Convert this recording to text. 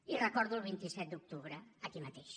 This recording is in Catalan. i recordo el vint set d’octubre aquí mateix